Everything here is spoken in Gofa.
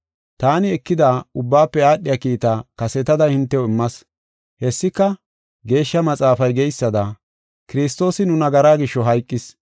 Taani ekida ubbaafe aadhiya kiitaa kasetada hintew immas. Hessika, Geeshsha Maxaafay geysada, Kiristoosi nu nagaraa gisho hayqis.